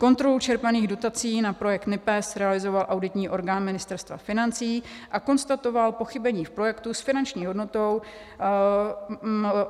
Kontrolu čerpaných dotací na projekt NIPEZ realizoval auditní orgán Ministerstva financí a konstatoval pochybení v projektu s finanční hodnotou.